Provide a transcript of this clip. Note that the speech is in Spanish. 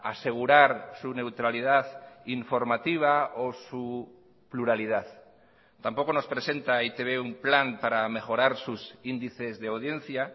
asegurar su neutralidad informativa o su pluralidad tampoco nos presenta e i te be un plan para mejorar sus índices de audiencia